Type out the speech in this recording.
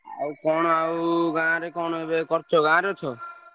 ଆଉ କଣ ଆଉ ଗାଁରେ କଣ ଏବେ କରୁଚ ଗାଁରେ ଅଛ?